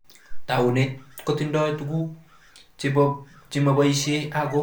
Taunet kotindoi tuguk chemoboishe ako matindoi faida